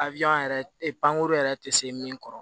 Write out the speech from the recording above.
yɛrɛ pankurun yɛrɛ tɛ se min kɔrɔ